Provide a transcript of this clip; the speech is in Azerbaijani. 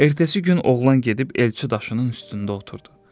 Ertəsi gün oğlan gedib elçi daşının üstündə oturdu.